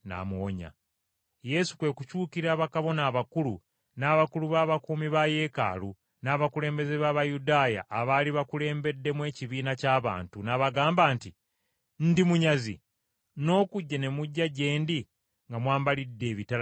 Yesu kwe kukyukira bakabona abakulu, n’abakulu b’abakuumi ba Yeekaalu, n’abakulembeze b’Abayudaaya abaali bakulembedde ekibiina ky’abantu, n’abagamba nti, “Ndi munyazi, n’okujja ne mujja gye ndi nga mwambalidde ebitala n’emiggo?